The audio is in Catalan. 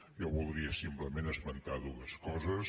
jo voldria simplement esmentar dues coses